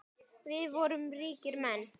Við vorum ríkir menn.